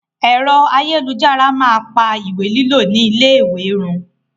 Ẹ̀rọ ayélujára máa pa ìwé lílo ni ilé ìwé run.